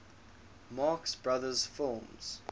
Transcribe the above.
marx brothers films